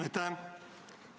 Aitäh!